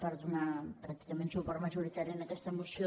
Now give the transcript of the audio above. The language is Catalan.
per donar pràcticament suport majoritari a aquesta moció